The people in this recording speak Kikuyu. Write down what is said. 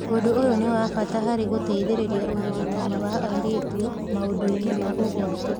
Ũndũ ũyũ nĩ wa bata harĩ gũteithĩrĩria ũrigitani wa airĩtu maũndũ-inĩ ma ũgwati.